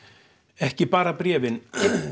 ekki bara bréfin